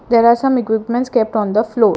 there are some equipments kept on the floor.